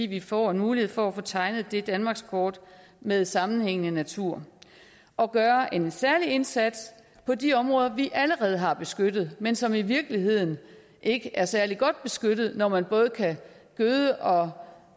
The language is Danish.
vi får en mulighed for at få tegnet det danmarkskort med sammenhængende natur og at gøre en særlig indsats på de områder vi allerede har beskyttet men som i virkeligheden ikke er særlig godt beskyttet når man både kan gøde og